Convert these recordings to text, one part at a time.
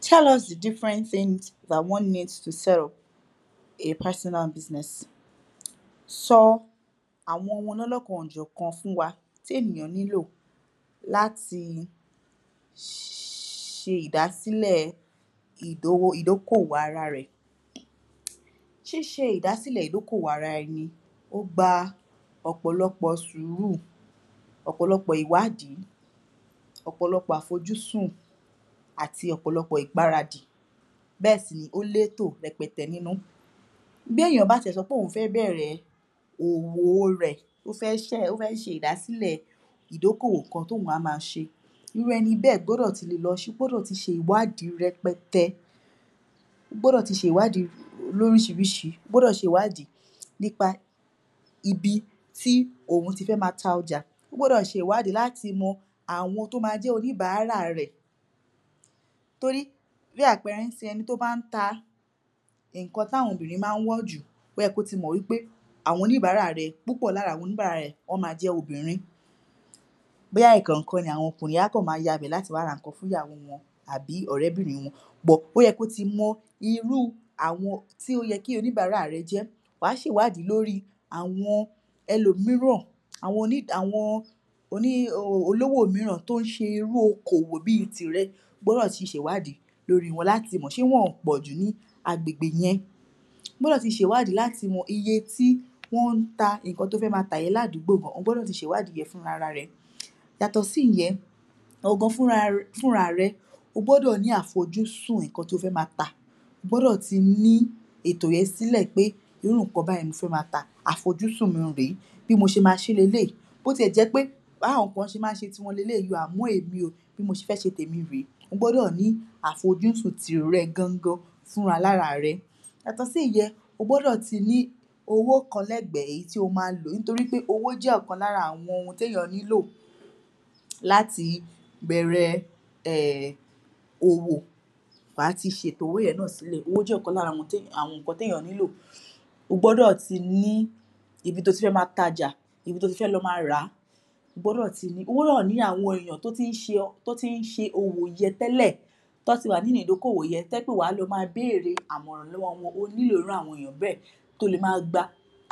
Tell us the different things that one needs to sell, a personal business sọ àwọn ohun olónákan-ò-jọ̀kan fún wa tí ènìyàn nílò láti ṣe ìdásílẹ̀ ìdówó, ìdókòwò ara rẹ̀. Ṣíṣe ìdásìlẹ̀ ìdókòwò ara ẹni, ó gba ọ̀pọ̀lọpọ̀ sùúrù ọ̀pọ̀lọpọ̀ ìwádìí ọ̀pọ̀lọpọ̀ àfojúsùn àti ọ̀pọ̀lọpọ̀ ìgbáradì. Bẹ́ẹ̀ sì ni, ó lètò rẹpẹtẹ nínú. Bí èèyàn bá ti ẹ̀ sọ pé òun fẹ́ bẹ̀ẹ̀rẹ̀ òwò rẹ̀ ó fẹ́ ṣẹ́, ó fẹ́ ṣe ìdásílẹ̀ ìdókòwò kan tí òun á ma ṣe irú ẹni bẹ́ẹ̀ gbọ́dọ̀ ti lè lọ ṣi, gbọ́dọ̀ ti ṣe ìwádìí rẹpẹtẹ ó gbọ́dọ̀ ti ṣe ìwádìí lóríṣiríṣi, ó gbọ́dọ̀ ti ṣe ìwádìí nípa ibi tí òun ti fẹ́ ma ta ọjà ó gbọ́dọ̀ ṣe ìwádìí láti mọ àwọn tó ma jẹ́ oníbàárà rẹ̀ torí bí àpẹẹrẹ nísìnyí, ẹni tí ó bá ń ta ǹnkan tí àwọn obìnrin má ń wọ̀ jù, óyẹ kí ó ti mọ wí pé àwọn oníbàárà rẹ̀, púpọ̀ lára àwọn oníbàárà rẹ̀, wọ́n ma jẹ́ obìnrin bóyá ẹ̀kọ̀òkan ni àwọn okùnrin á kàn ma ya ibẹ̀ láti wá ra nǹkan fún ìyàwó wọn àbí ọ̀rẹ́bìnrin wọn But, ó yẹ̀ kí ó ti mọ irú àwọn tí ó yẹ kí oníbàárà rẹ̀ jẹ́. Wàá ṣe ìwádìí lórí àwọn ẹlòmìíràn, àwọn oní, àwọn oní um olówó mìíràn tó ń ṣe irú okòwò bí i tìrẹ, o gbọ́dọ̀ ti ṣe ìwádìí lórí wọn, láti mọ̀, ṣé wọn ò pòjù ní agbègbè yẹn O gbọ́dọ̀ ti ṣe ìwádìí láti mọ iye tí wọ́n ń ta nǹkan tí ó fẹ́ ma tà yẹn ládùgbò, o gbọ́dọ̀ ti ṣe ìwádìí yẹn fúnrararẹ̀. Yàtọ̀ sí ìyẹn, ìwọ gan fúnra, fúnrarẹ̀, o gbọ́dọ̀ ní àfojúsùn nǹkan tí o fẹ́ ma tà o gbọ́dọ̀ ti ní ètò yẹn sílẹ̀ pé irú nǹkan báyìí ni mo fẹ́ ma tà, àfojúsùn mi rèé bí mo ṣe ma ṣé leléyìí bó ti ẹ̀ jẹ́ pé bí àwọn kan ṣe má ń ṣe tiwọn leléyìí. Àmọ èmi o, bí mo ṣe fẹ́ ṣe tèmi rèé. O gbọ́dọ̀ ní àfojúsùn tìrẹ gangan fúnra lára rẹ Yàtọ̀ sí ìyẹn, o gbọ́dọ̀ ti ní owó kan lẹ́gbẹ̀ẹ́, èyí tí o ma lò torípé owó jẹ́ ọ̀kan lára àwọn ohun tí èèyàn nílò láti bẹ̀ẹ̀rẹ̀ um òwò Wàá ti ṣe ètò owó yẹn náà sílẹ̀. Owó jẹ́ ọ̀kan lára àwọn nǹkan tí èèyàn nílò o gbọ́dọ̀ ti ní ibi tí o ti fẹ́ ma tajà ibi tí o ti fẹ́ lọ ma ràá O gbọ́dọ̀ ti ni, o gbọ́dọ̀ ní àwọn èèyàn tó tí ń ṣe òwò yẹn tẹ́lẹ̀ tí wọ́n ti wà nínú ìdókòwò yẹn, tó jẹ́ pé wàá lọ ma béèrè àmọ̀ràn lọ́wọ́ wọn. O ní ìrànlọ́wọ́ irú àwọn ènìyàn bẹ́ẹ̀ to lè ma gba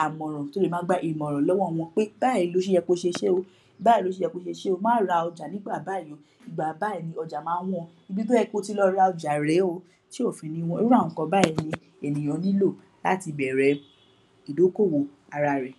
àmọ̀ràn, to lè ma gba ìmọ̀ràn lọ́wọ́ wọn pé báyìí ló ṣe yẹ kí oṣe ṣé o, báyìí ló ṣe yẹ kí oṣe ṣé o, má ra ọjà nígbà báyìí o ìgbà báyìí ni ọjà má ń wọ́n o, ibi tí ó yẹ kí o ti lọ ra ọjà rèé o tí ò fi ní wọ́n. Irú àwọn nǹkan báyìí ni ènìyàn nílò láti bẹ̀ẹ̀rẹ̀ ìdókòwò ara rẹ̀.